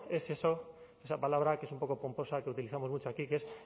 es eso esa palabra que es un poco pomposa que utilizamos mucho aquí que es